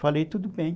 Falei, tudo bem.